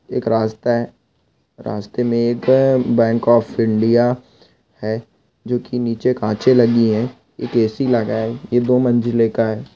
एक रास्ता है रास्ते मे एक बैंक ऑफ इंडिया है जोकि निचे कांचे लगी है एक ए _सी लग़ा ये दो मंजिले का है।